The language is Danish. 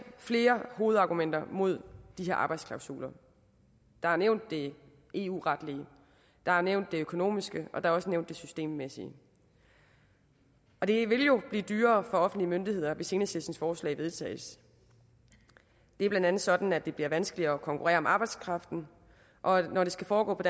flere hovedargumenter mod de her arbejdsklausuler der er nævnt det eu retlige der er nævnt det økonomiske og der er også nævnt det systemmæssige og det vil jo blive dyrere for offentlige myndigheder hvis enhedslistens forslag vedtages det er blandt andet sådan at det bliver vanskeligere at konkurrere om arbejdskraften og at når det skal foregå på